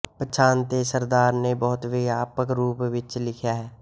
ਪਛਾਣ ਤੇ ਸਰਦਾਰ ਨੇ ਬਹੁਤ ਵਿਆਪਕ ਰੂਪ ਵਿੱਚ ਲਿਖਿਆ ਹੈ